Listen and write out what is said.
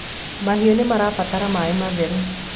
mahiũ nimarabatara maĩ matheru